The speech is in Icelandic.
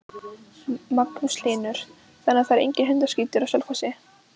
Magnús Hlynur: Þannig að það er enginn hundaskítur á Selfossi?